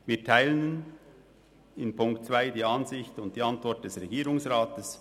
Wir teilen in Punkt 2 die Ansicht und die Antwort des Regierungsrats.